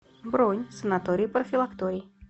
бронь санаторий профилакторий